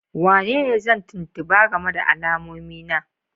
Wanene zan tuntuba game da alamomi na?